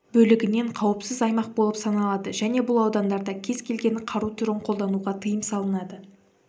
бөлігінен қауіпсіз аймақ болып саналады және бұл аудандарда кез келген қару түрін қолдануға тыйым салынады